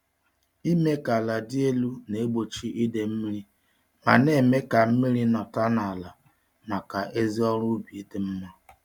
Ịme ka ala dị elu na-egbochi idee-mmiri ma némè' ka mmiri nọta n'ala màkà ezi ọrụ ubi dị mma